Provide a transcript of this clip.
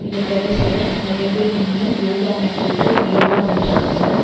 இந்த டெரஸ்ல நெறைய பேர் நின்னு யோகா மேட் போட்டு யோகா பண்ட்ருக்காங்க.